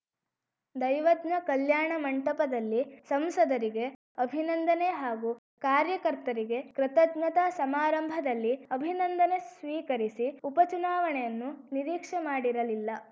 ದೈವಜ್ಞ ಕಲ್ಯಾಣ ಮಂಟಪದಲ್ಲಿ ಸಂಸದರಿಗೆ ಅಭಿನಂದನೆ ಹಾಗೂ ಕಾರ್ಯಕರ್ತರಿಗೆ ಕೃತಜ್ಞತಾ ಸಮಾರಂಭದಲ್ಲಿ ಅಭಿನಂದನೆ ಸ್ವೀಕರಿಸಿ ಉಪ ಚುನಾವಣೆಯನ್ನು ನಿರೀಕ್ಷೆ ಮಾಡಿರಲಿಲ್ಲ